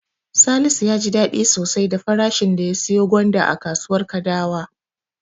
Salisu ya ji daɗi sosai da farashin da ya siyo gwanda a kasuwar Kadawa.